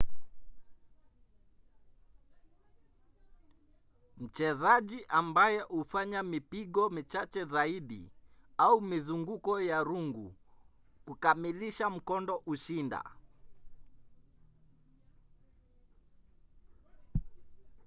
mchezaji ambaye hufanya mipigo michache zaidi au mizunguko ya rungu kukamilisha mkondo hushinda